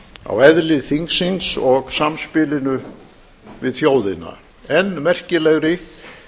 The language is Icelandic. á eðli þingsins og samspilinu við þjóðina enn merkilegri